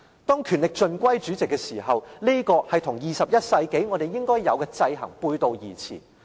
當權力盡歸主席時，這和21世紀我們應有的制衡背道而馳。